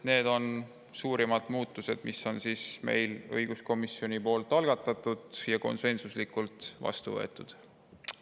Need on suurimad muudatused, mille õiguskomisjoni algatas ja mille me konsensuslikult vastu võtsime.